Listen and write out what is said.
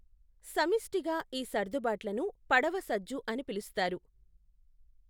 సమిష్టిగా ఈ సర్దుబాట్లను పడవ సజ్జు అని పిలుస్తారు.